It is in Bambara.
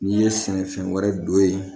N'i ye sɛnɛfɛn wɛrɛ don yen